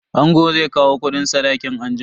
Angon zai kawo kudin sadakin anjima.